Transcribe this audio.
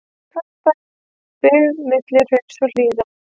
Garðabær, byggð milli hrauns og hlíða.